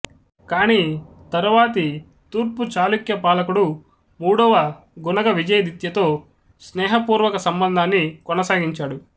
కాని తరువాతి తూర్పు చాళుక్య పాలకుడు మూడవ గుణగ విజయదిత్యతో స్నేహపూర్వక సంబంధాన్ని కొనసాగించాడు